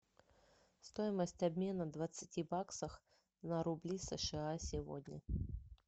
стоимость обмена двадцати баксов на рубли сша сегодня